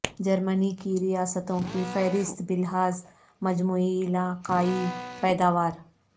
جرمنی کی ریاستوں کی فہرست بلحاظ مجموعی علاقائی پیداوار